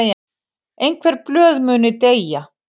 Einhver blöð muni deyja